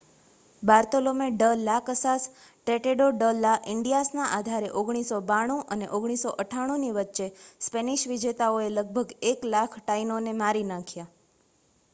Bartolome de las Casas Tratado de la ઇન્ડિઆસના આધારે 1492 અને 1498ની વચ્ચે સ્પેનિશ વિજેતાઓએ લગભગ 1,00,000 ટાઇનોને મારી નાખ્યા